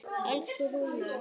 Elsku Rúnar.